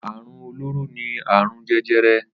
Àrún ólóró ni àrún jẹjẹrẹ